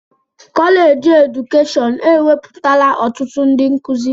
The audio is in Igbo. Kọleji edukeshọn ewepụtala ọtụtụ ndị nkụzi.